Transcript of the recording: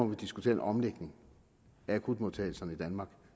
vi diskutere en omlægning af akutmodtagelserne i danmark